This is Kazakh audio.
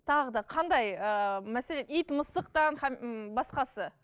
тағы да қандай ыыы мәселен ит мысықтан м басқасы